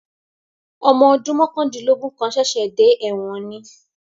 Ọmọ ọdún mọ̀kàndínlógún kan ṣẹ̀ṣẹ̀ dé ẹ̀wọ̀n ni